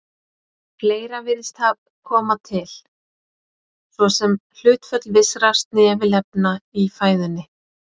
Fleira virðist koma til, svo sem hlutföll vissra snefilefna í fæðunni.